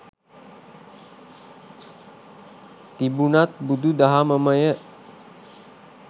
තිබුනත් බුදු දහමමය.